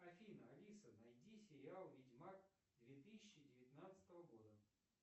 афина алиса найди сериал ведьмак две тысячи девятнадцатого года